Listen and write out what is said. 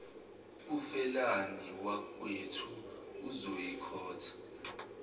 ufelani wakwethu uzoyikhotha